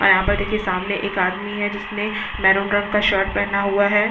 और यहाँ पर देखिये सामने एक आदमी है जिसने मैरून कलर का शर्ट पहना हुआ है।